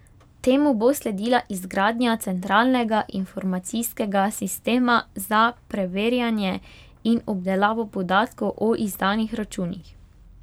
Temu bo sledila izgradnja centralnega informacijskega sistema za preverjanje in obdelavo podatkov o izdanih računih.